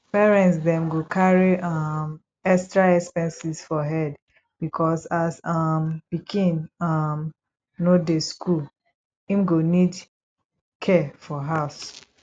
parents dem go carry um extra expenses for head because as um pikin um no dey school im go need care for house